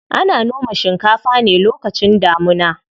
Ana noma shinkafa ne lokacin damuna.